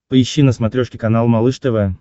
поищи на смотрешке канал малыш тв